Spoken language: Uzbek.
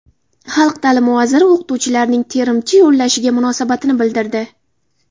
Xalq ta’limi vaziri o‘qituvchilarning terimchi yollashiga munosabatini bildirdi.